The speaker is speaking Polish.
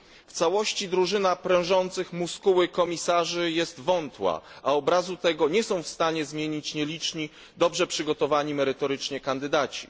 W całości drużyna prężących muskuły komisarzy jest wątła, a obrazu tego nie są w stanie zmienić nieliczni, dobrze przygotowani merytorycznie kandydaci.